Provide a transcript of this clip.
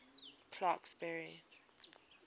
clarksburry